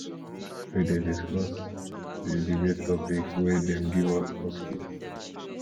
we dey discuss di debate topic wey dem give us for skool